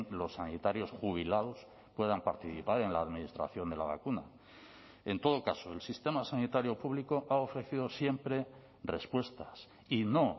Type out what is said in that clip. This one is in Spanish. los sanitarios jubilados puedan participar en la administración de la vacuna en todo caso el sistema sanitario público ha ofrecido siempre respuestas y no